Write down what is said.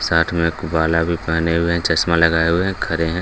साथ में भी पहने हुए हैं चश्मा लगाए हुए हैं खड़े हैं।